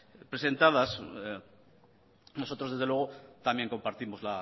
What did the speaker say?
presentadas nosotros desde luego también compartimos